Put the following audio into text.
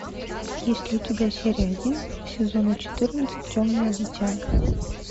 есть ли у тебя серия один сезона четырнадцать темное дитя